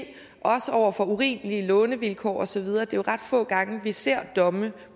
mod urimelige lånevilkår og så videre det er jo ret få gange at vi ser domme